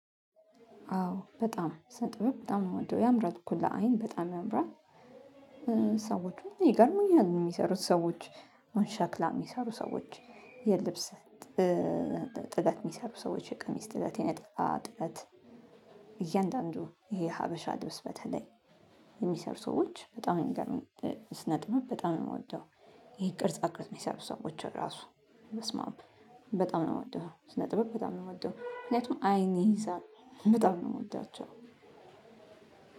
አዎ በጣም ስነጥበብ በጣም ነው የምወደው ያምራል እኮ ለአይን በጣም ያምራል። ሰዎች ይገርመኛል የሚሰሩት ሰዎች ወይ ሸክላ የሚሰሩ ሰዎች የልብስ ጥለት የሚሰሩ ሰዎች የቅሚስ ጥለት የነጠላ ጥለት እያንዳንዱ ይሄ ሀበሻ ልብስ በተለይ የሚሰሩ ሰዎች በጣም የሚገርሙኝ ስነጥበብ በጣም ነው የምወደው። ይሄ ቅርጻ ቅርጽ የሚሰሩ ሰዎች ራሱ በስም አብ በጣም ነው የምወደው። ስነ ጥበብ በጣም ነው የምወደው ምክንያቱም አይኔ ይይዛል በጣም ነው የምወዳቸው።